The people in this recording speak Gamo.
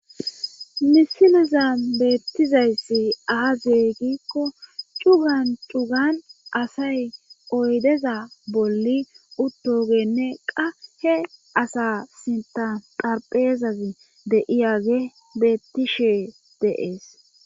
Misiliza beettizayssi aazeygikko cugan cugan asay oydeza bolli uttogenne qa he asa sinta darpheezazi deiyage bettishe dees.